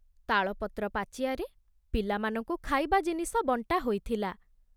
ତାଳପତ୍ର ପାଚିଆରେ ପିଲାମାନଙ୍କୁ ଖାଇବା ଜିନିଷ ବଣ୍ଟା ହୋଇଥିଲା।